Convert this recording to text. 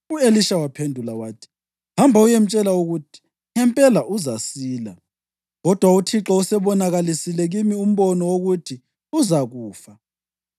U-Elisha waphendula wathi, “Hamba uyemtshela ukuthi, ‘Ngempela uzasila’; kodwa uThixo usebonakalisile kimi umbono wokuthi uzakufa.”